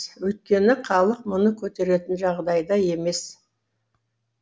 өйткені халық мұны көтеретін жағдайда емес